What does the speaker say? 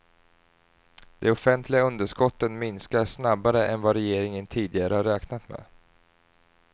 De offentliga underskotten minskar snabbare än vad regeringen tidigare har räknat med.